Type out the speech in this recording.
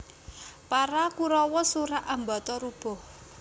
Para Kurawa surak ambata rubuh